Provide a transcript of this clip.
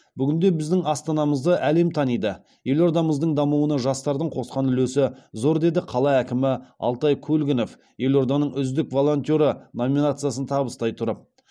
бүгінде біздің астанамызды әлем таниды елордамыздың дамуына жастардың қосқан үлесі зор деді қала әкімі алтай көлгінов елорданың үздік волонтеры номинациясын табыстай тұрып